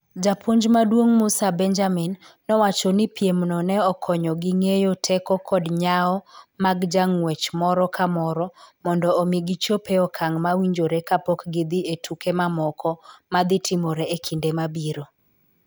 Japuonj maduong' Musa Benjamin nowacho ni piemno ne okonyogi ng'eyo teko kod nyawo mag jang'wech moro ka moro mondo omi gichop e okang' mowinjore kapok gidhi e tuke mamoko ma dhi timore e kinde mabiro.